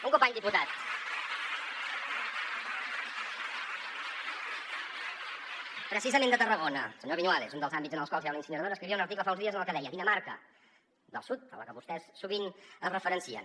un company diputat precisament de tarragona el senyor viñuales un dels àmbits en els quals hi ha una incineradora escrivia un article fa uns dies en el que deia dinamarca del sud a la que vostès sovint es referencien